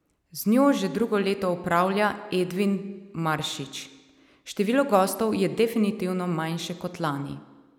Z njo že drugo leto upravlja Edvin Maršič: "Število gostov je definitivno manjše kot lani.